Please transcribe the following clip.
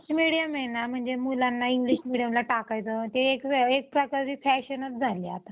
english medium आहे ना म्हणजे मुलांना english medium ला टाकायचं ते एक प्रकारची fashionच झालीय आता